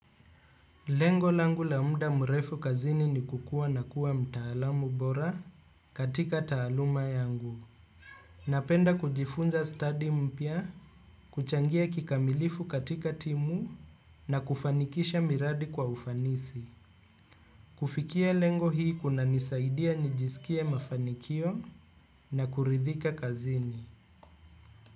Lengo langu muda mrefu kazini ni kukua na kuwa mtaalamu bora katika taaluma yangu. Napenda kujifunza stadi mpya, kuchangia kikamilifu katika timu na kufanikisha miradi kwa ufanisi kufikia lengo hii kunanisaidia nijiskie mafanikio na kuridhika kazini.